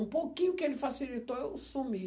Um pouquinho que ele facilitou, eu sumi.